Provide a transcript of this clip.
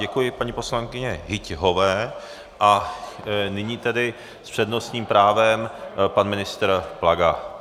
Děkuji paní poslankyni Hyťhové a nyní tedy s přednostním právem pan ministr Plaga.